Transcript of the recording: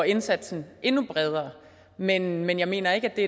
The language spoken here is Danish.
indsatsen endnu bredere men men jeg mener ikke at det